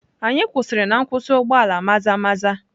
Anyị kwụsịrị na nkwụsị ụgbọ ala Maza-maza.